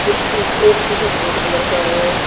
कुछ शीश एक शीशा सफेद कलर का है।